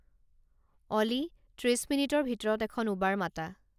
অ'লি ত্ৰিশ মিনিটৰ ভিতৰত এখন উবাৰ মাতা